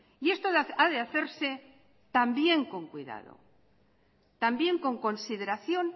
y esto ha de hacerse también con cuidado también con consideración